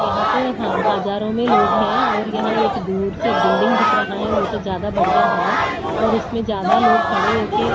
यहां तो ह हजारों में लोग हैं और यहां एक दूर से बिल्डिंग दिख रहा है वो तो ज्यादा बढ़िया है और उसमें ज्यादा लोग खड़े हो के--